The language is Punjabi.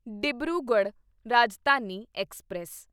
ਡਿਬਰੂਗੜ੍ਹ ਰਾਜਧਾਨੀ ਐਕਸਪ੍ਰੈਸ